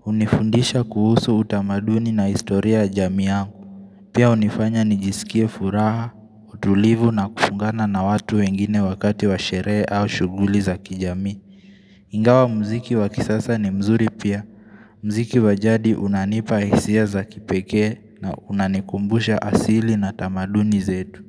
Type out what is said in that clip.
hunifundisha kuhusu utamaduni na historia ya jamii yangu Pia hunifanya nijisikie furaha, utulivu na kufungana na watu wengine wakati wa sherehe au shughuli za kijamii Ingawa muziki wa kisasa ni mzuri pia muziki wa jadi unanipa hisia za kipekee na unanikumbusha asili na tamaduni zetu.